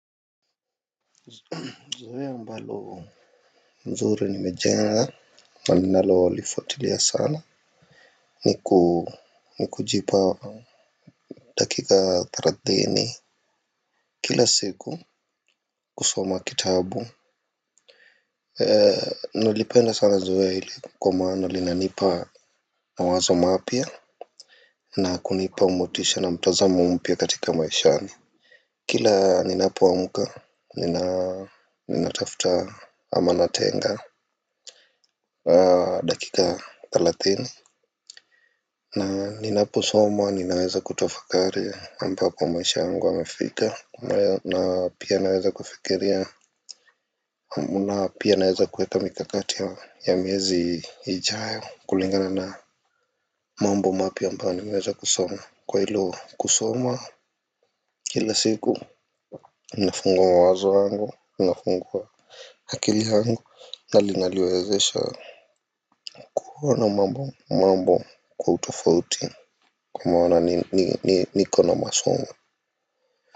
Zoea ambalo mzuri nimejenga na ninalo lifuatilia sana ni kujipa dakika thalathini. Kila siku kusoma kitabu. Nalipenda sana zoea hili kwa maana linanipa mawazo mapya na kunipa motisha na mtazamo mpya katika maishani. Kila ninapo amka ninatafuta ama natenga dakika thelathini, na ninaposoma ninaweza kutafakari ambapo maisha yangu yamefika. Na pia naweza kufikiria. Na pia naweza kueka mikakati ya miezi ijayo kulingana na mambo mapya ambayo niweza kusoma. Kwa hilo kusoma kila siku kunafungua mawazo yangu, unafungua akili gangu na linaliwezesha kuona mambo mambo kwa utofauti kwa maana niko na masomo.